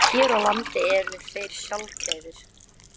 Hér á landi eru þeir sjaldgæfir.